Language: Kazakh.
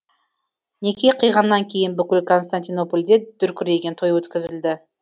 неке қиғаннан кейін бүкіл константинопольде дүркіреген той өткізілді